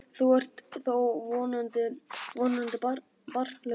Þú ert þó vonandi barnlaus?